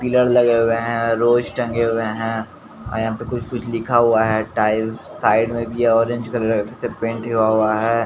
Pillar लगे हुए हैं रोज टंगे हुए हैं अअयहां पे कुछ कुछ लिखा हुआ है टाइल्स साइड में भी ऑरेंज कलर से पेंट हुवाहुआ है।